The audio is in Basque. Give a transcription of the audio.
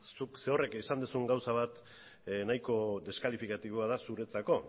zuk zerorrek esan dezun gauza bat nahiko deskalifikatiboa da zuretzako